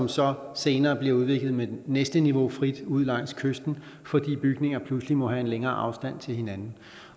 så senere bliver udvidet med det næste niveau af frit ud langs kysten fordi bygninger pludselig må have en længere afstand til hinanden